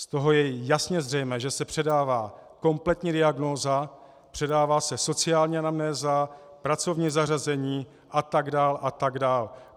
Z toho je jasně zřejmé, že se předává kompletní diagnóza, předává se sociální anamnéza, pracovní zařazení atd. atd.